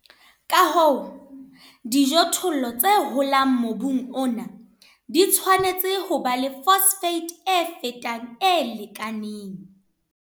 Ka hoo, dijothollo tse holang mobung ona di tshwanetse ho ba le phosphate e fetang e lekaneng.